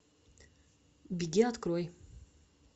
беги открой